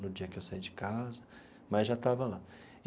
no dia em que eu saí de casa, mas já estava lá.